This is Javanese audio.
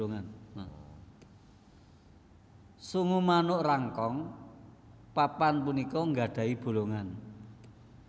Sungu manuk Rangkong papan punika nggadhahi bolongan